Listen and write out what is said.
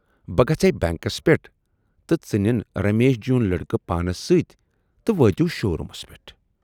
بہٕ گژھٕے بینکس پٮ۪ٹھ تہٕ ژٕ نِن رمیش جیُن لٔڑکہٕ پانَس سۭتۍ تہٕ وٲتِو شو رومس پٮ۪ٹھ۔